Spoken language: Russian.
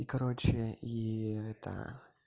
и короче и это